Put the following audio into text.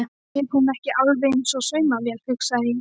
Er hún ekki alveg eins og saumavél, hugsaði það.